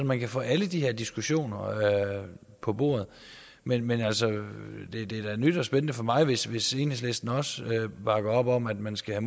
man kan få alle de her diskussioner på bordet men men altså det er da nyt og spændende for mig hvis hvis enhedslisten også bakker op om at man skal